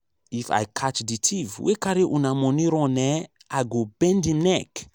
if i catch the thief wey carry una money run eh i go bend im neck.